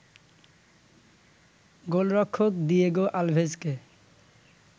গোলরক্ষক দিয়েগো আলভেজকে